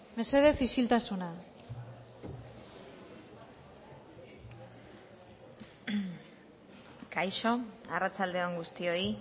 mesedez isiltasuna kaixo arratsalde on guztioi